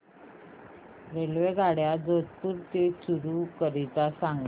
रेल्वेगाड्या जोधपुर ते चूरू करीता सांगा